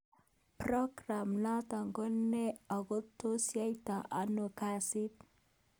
progam noto ko ne ako tos yaitai ano kasi